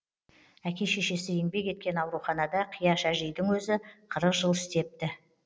әке шешесі еңбек еткен ауруханада қияш әжейдің өзі қырық жыл істепті